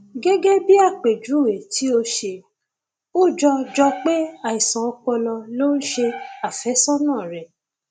gẹgẹ bí àpèjúwe tí o ṣe ó jọ jọ pé àìsàn ọpọlọ ló ń ṣe àfẹsọnà rẹ